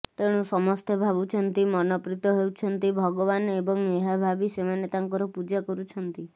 ତେଣୁ ସମସ୍ତେ ଭାବୁଛନ୍ତି ମନପ୍ରୀତ ହେଉଛନ୍ତି ଭଗବାନ ଏବଂ ଏହା ଭାବି ସେମାନେ ତାଙ୍କର ପୂଜା କରୁଛନ୍ତି